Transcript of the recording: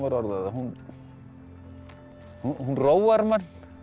orða það hún hún róar mann